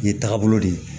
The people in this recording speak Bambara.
Ye tagabolo de ye